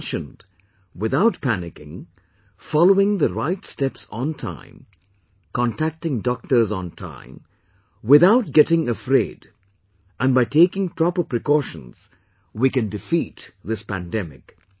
As he mentioned, without panicking, following the right steps on time, contacting doctors on time without getting afraid and by taking proper precautions, we can defeat this pandemic